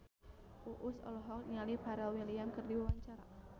Uus olohok ningali Pharrell Williams keur diwawancara